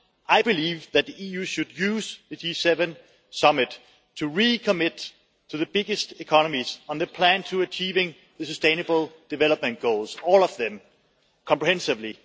I believe that the EU should use the G7 summit to recommit to the biggest economies on the plan to achieving the sustainable development goals all of them, comprehensively.